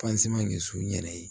de sun yɛrɛ ye